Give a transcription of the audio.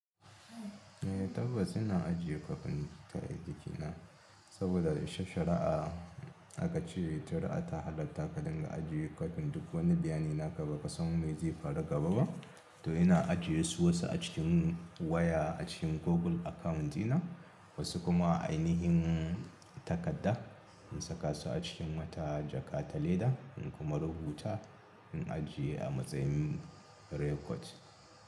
Eh tabbas ina ajiye kwafin ta aikina saboda shi shari'a aka ce shari'a ta halatta ka ɗinga ajiye kwafin duk wani bayani naka baka san me zai faru gaba ba. To ina ajiye su wasu a cikin waya a cikin Google account dina, wasu kuma a ainihin takarda in saka su a cikin wata jaka ta leda in kuma rubuta in ajiye a matsayin record.